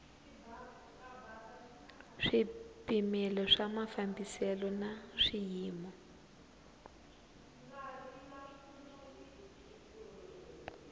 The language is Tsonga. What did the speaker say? swipimelo swa mafambiselo na swiyimo